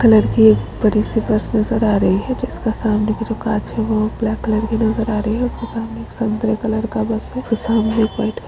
colour की एक बड़ी सी बस नजर आ रही है जिसके सामने का जो कांच है वो ब्लैक कलर के नजर आ रही है उसके सामने एक संतरे कलर का बस है और सामने एक व्हाईट --